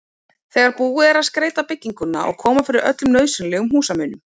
þegar búið er að skreyta bygginguna og koma fyrir öllum nauðsynlegum húsmunum.